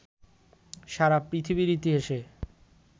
সারা পৃথিবীর ইতিহাসে